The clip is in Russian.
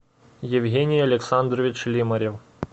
евгений александрович лимарев